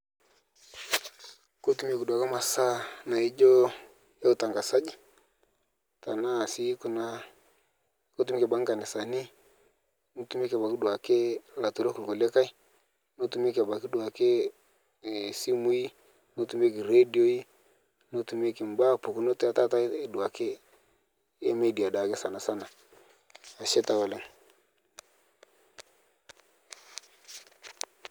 Kotumeki duake masaa naijo e utangazaji tanaa sii kuna, ketumeki abaki nkanisani, netumeki abaki duake laturok kulikai, netumeki abaki duake iisimui, netumeki redioi, netumeki baa pukunot etaata eduake emidia daake sanasana ashe taa oleng'.